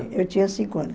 eu tinha cinco anos.